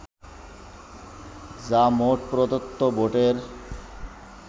যা মোট প্রদত্ত ভোটের